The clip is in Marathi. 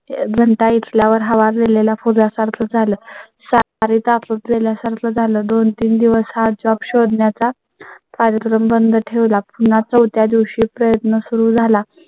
घंटा इथल्या वर हव सोडलेल्या फुग्या सारखं झालं. सारेच आपल्या सारखं झालं. दोन तीन दिवस job शोधण्या चा कार्यक्रम बंद ठेवला. पुन्हा चौथ्या दिवशी प्रयत्न सुरू झाला.